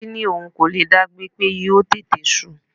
Titi ní òun kò lè dá gbé, pé yóò tètè su.